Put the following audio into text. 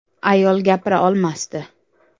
Ayol gapira olmasdi.